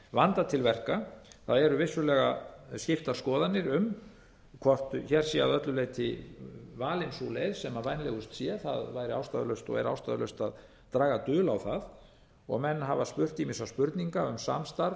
vandað til verka það eru vissulega skiptar skoðanir um hvort hér sé að öllu leyti valin sú leið sem vænlegust sé það væri ástæðulaust og er ástæðulaust að draga dul á það og menn hafa spurt ýmissa spurninga um samstarf